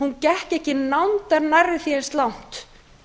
hún gekk ekki nándar nærri því eins langt